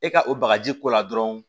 E ka o bagaji ko la dɔrɔn